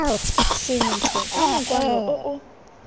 sentle ka mokwalo o o